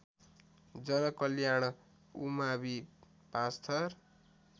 जनकल्याण उमावि पाँचथर